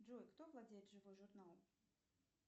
джой кто владеет живой журнал